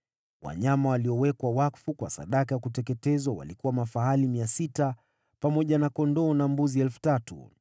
Wanyama waliowekwa wakfu kwa sadaka ya kuteketezwa walikuwa mafahali 600, pamoja na kondoo na mbuzi 3,000.